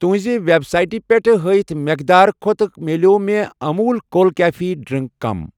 تُُہنٛزِ web سایٹہٕ پٮ۪ٹھ ہٲیِتھ مٮ۪قدار کھۄتہٕ مِلٮ۪و مےٚ اموٗل کوٗل کیفے ڈرٛنٛک کم.